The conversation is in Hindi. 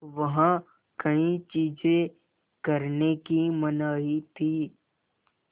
वहाँ कई चीज़ें करने की मनाही थी